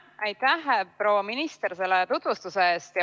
Aitäh, proua minister, selle tutvustuse eest!